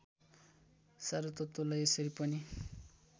सारतत्त्वलाई यसरी पनि